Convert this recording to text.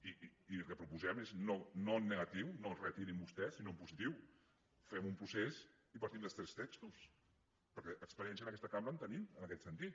i el que proposem és no en negatiu no retirin vostès sinó en positiu fem un procés i partim dels tres textos perquè experiència en aquesta cambra en tenim en aquest sentit